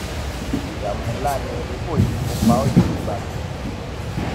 ìdààmú ńlá ni ikú òjijì tó pa ọ yìí kò bá mi